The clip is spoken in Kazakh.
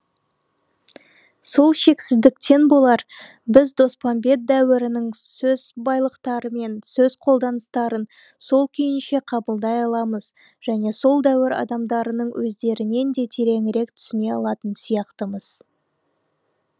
сол шексіздіктен болар біз доспамбет дәуірінің сөз байлықтары мен сөз қолданыстарын сол күйінше қабылдай аламыз және сол дәуір адамдарының өздерінен де тереңірек түсіне алатын сияқтымыз